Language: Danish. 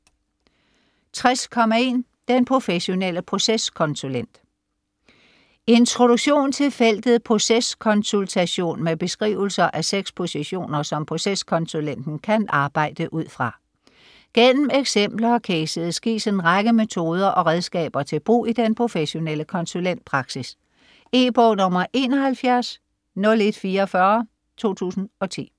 60.1 Den professionelle proceskonsulent Introduktion til feltet proceskonsultation med beskrivelser af seks positioner, som proceskonsulenten kan arbejde ud fra. Gennem eksempler og cases gives en række metoder og redskaber til brug i den professionelle konsulentpraksis. E-bog 710144 2010.